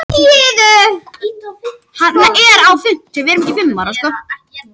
Þessi umræða er skemmtileg fyrir sunnan þar sem menn eru vælandi yfir völlunum.